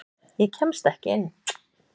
Ég kemst ekki inn.